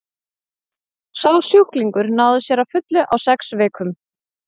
sá sjúklingur náði sér að fullu á sex vikum